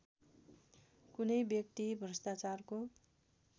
कुनै व्यक्ति भ्रष्टाचारको